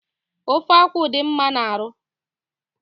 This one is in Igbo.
Ofe akwụ dị mma n'arụ